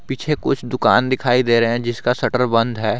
पीछे कुछ दुकान दिखाई दे रहे है जिसका शटर बंद हैं।